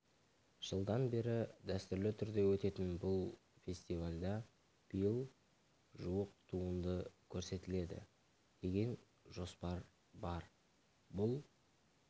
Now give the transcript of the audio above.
жылдан бері дәстүрлі түрде өтетін бұл фестивальда биыл жуық туынды көрсетіледі деген жоспар бар бұл